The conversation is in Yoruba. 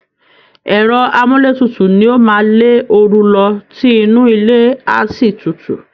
Ẹ̀rọ àmúlétutù ni ó máa lé ooru lọ tí inú ilé a sì tutù